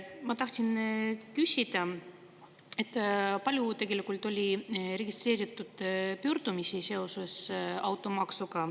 Ma tahtsin küsida, kui palju tegelikult on registreeritud pöördumisi seoses automaksuga.